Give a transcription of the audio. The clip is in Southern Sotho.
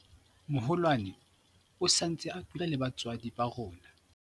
moholwane o sa ntse a dula le batswadi ba rona